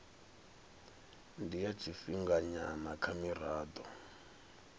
ndi ya tshifhinganyana kha mirado